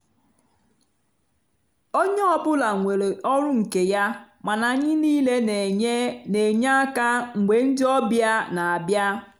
onye ọ bụla nwere ọrụ nke ya mana anyị niile n'enye n'enye aka mgbe ndị ọbịa n'abịa.